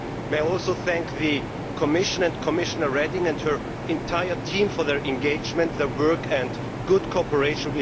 May I also thank the Commission and Commissioner Reding and her entire team for their commitment, work and good cooperation.